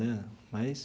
Né mas.